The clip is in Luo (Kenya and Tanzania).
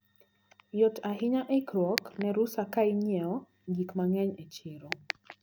Yot ahinya ikruok ne rusa kainyiewo gik mang`eny e chiro.